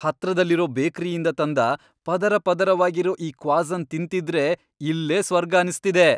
ಹತ್ರದಲ್ಲಿರೋ ಬೇಕ್ರಿಯಿಂದ ತಂದ ಪದರಪದರವಾಗಿರೋ ಈ ಕ್ವಾಸನ್ ತಿಂತಿದ್ರೆ ಇಲ್ಲೇ ಸ್ವರ್ಗ ಅನ್ಸ್ತಿದೆ.